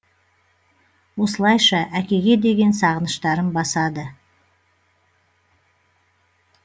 осылайша әкеге деген сағыныштарын басады